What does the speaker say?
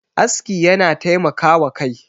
aski yana taimaka wa Kai